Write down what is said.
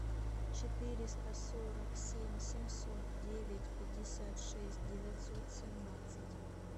четыреста сорок семь семьсот девять пятьдесят шесть девятьсот семнадцать